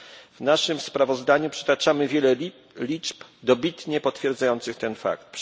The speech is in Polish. W naszym sprawozdaniu przytaczamy wiele liczb dobitnie potwierdzających ten fakt.